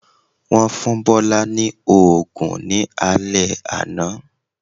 Wọ́n fún Bọ́lá ní òògùn ní alé àná